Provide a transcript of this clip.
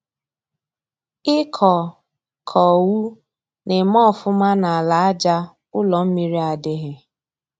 ị kọ kọ owu na-eme ọfụma n'ala aja ụ́lọ́ mmiri adịghị.